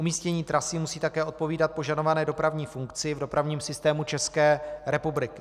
Umístění trasy musí také odpovídat požadované dopravní funkci v dopravním systému České republiky.